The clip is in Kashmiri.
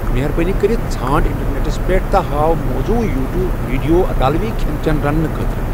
مہربٲنی کٔرِتھ ژھانٛڑ انٹرنیٹس پیٹھ تہٕ ہاو موزون یوٹیوب ویڈیو اطالوی کھین چین رننہٕ خٲطرٕ ۔